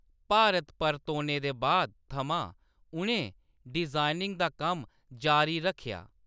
भारत परतोने दे बाद थमां उʼनें डिजाइनिंग दा कम्म जारी रक्खेआ।